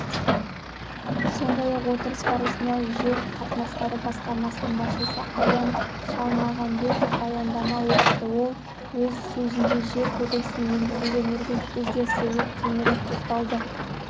сондай-ақ отырыс барысында жер қатынастары басқармасының басшысы аян шалмағамбетов баяндама оқыды ол өз сөзінде жер кодексіне енгізілген өзгерістерге кеңірек тоқталды